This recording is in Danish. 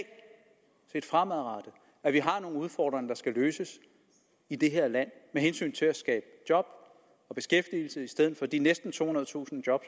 set fremadrettet at vi har nogle udfordringer der skal løses i det her land med hensyn til at skabe job og beskæftigelse i stedet for de næsten tohundredetusind job